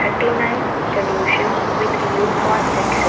thirty nine solutions with you for success.